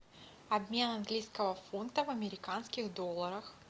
обмен английского фунта в американских долларах